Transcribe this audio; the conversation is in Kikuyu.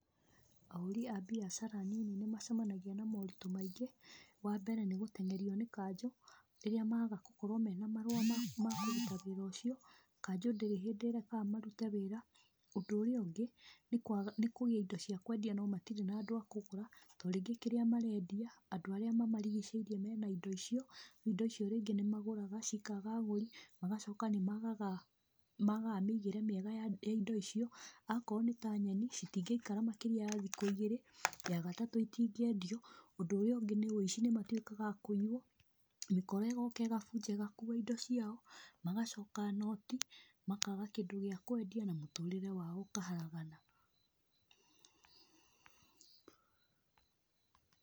Ahũri a mbiacara nini nĩmacemanagia na moritũ maingĩ, wa mbere nĩ gũteng'erio nĩ kanjũ rĩrĩa maga gũkorwo mena marũa makũruta wĩra ũcio, kanjũ ndĩrĩ hĩndĩ ĩrekaga marute wĩra. Ũndũ ũrĩa ũngĩ, nĩ kũgĩa na indío cia kwendia no matirĩ na andũ akũgũra tondũ rĩngĩ kĩrĩa marendia andũ arĩa mamarigicĩirie mena indo icio. Indo icio rĩngĩ nĩ magũraga cikaga agũri magacoka nĩmagaga mĩthiĩre mĩega ya indo icio, akorwo nĩ ta nyeni citingĩikara makĩria ma thikũ igĩrĩ, ya gatatũ itingĩendio, ũndũ ũrĩa ũngĩ nĩ ũici nĩmatwĩkaga akũiywo, mĩkora ĩgoka ĩgabunja ĩgakuua indo ciao, magacoka noti, makaga kĩndũ gĩa kwendia na mũtũrĩre wao ũkahagarana.